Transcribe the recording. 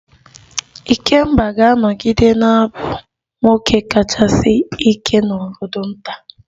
Ikemba ga-anọgide na-abụ nwoke kachasị ike n'obodo nta